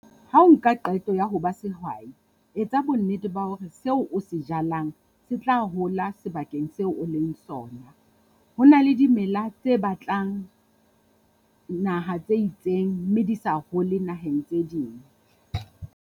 Ha o nka qeto ya ho ba sehwai, etsa bonnete ba hore seo o se jalang se tla hola sebakeng seo o leng sona. Ho na le dimela tse batlang naha tse itseng, mme di sa hole naheng tse ding.